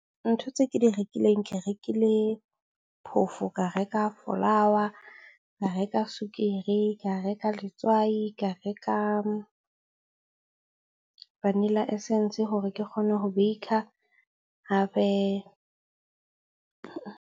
Ntho tse ke di rekileng. Ke rekile phoofo, ka reka flour, ka reka sukiri, ka reka letswai, ka reka vanilla essence hore ke kgone ho bake-a .